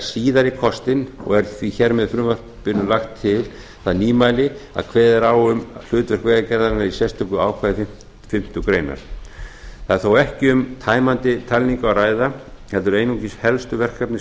síðari kostinn og er því hér í frumvarpinu lagt til það nýmæli að kveðið er á um hlutverk vegagerðarinnar í sérstöku ákvæði fimmtu grein það er þó ekki um tæmandi talningu að ræða heldur einungis helstu verkefni